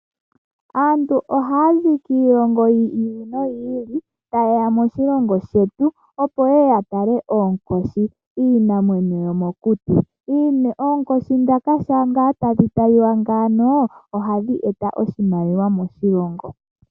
Aantu ohaa zi kiilongo yi ili noyi ili, ta yeya moshilongo shetu opo yeye ya tale oonkoshi, iinamwenyo yomokuti. Oonkoshi dhoka shampa ngaa tadhi taliwa ngaaka, ohadhi eta oshimaliwa moshilongo.